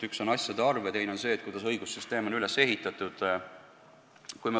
Üks on asjade arv ja teine on see, kuidas õigussüsteem on üles ehitatud.